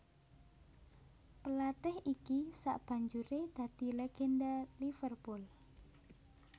Pelatih iki sabanjuré dadi legenda Liverpool